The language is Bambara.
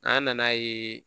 An nan'a ye